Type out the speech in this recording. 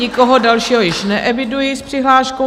Nikoho dalšího již neeviduji s přihláškou.